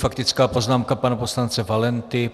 Faktická poznámka pana poslance Valenty.